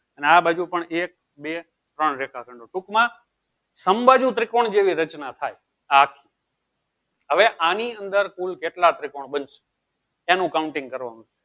ને આ બાજુ પણ એક બે ત્રણ રેખા ખંડો ટુંક માં અમ્બાજુ ત્રિકોણ જેટલી રચના થાય આ હવે આની અંદર કુલ કેટલા ત્રિકોણ બનશે એનું counting કરવાનું છે